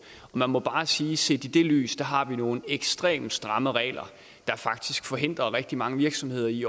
man må bare sige set i det lys har nogle ekstremt stramme regler der faktisk forhindrer rigtig mange virksomheder i